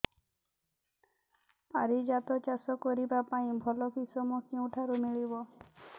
ପାରିଜାତ ଚାଷ କରିବା ପାଇଁ ଭଲ କିଶମ କେଉଁଠାରୁ ମିଳିବ